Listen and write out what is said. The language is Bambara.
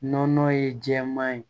Nɔnɔ ye jɛman ye